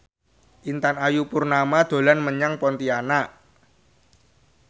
Intan Ayu Purnama dolan menyang Pontianak